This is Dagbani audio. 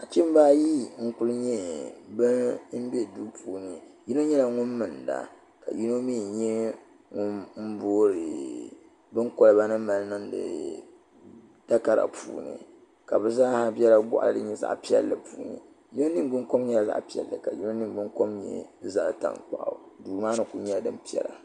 nachimbaayi n bɛni yino mɛlinida ka yino mɛ boori bɛni niŋ di kolibani ka be zaasa nyɛ ban bɛ goɣili din nyɛ zaɣ' piɛli ni yino niŋ gbani kom nyɛla zaɣ' piɛli ka yino mɛ nyɛ zaɣ ʒiɛ do maa ni koli nyɛla din piɛla